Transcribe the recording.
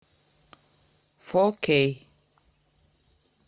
фо кей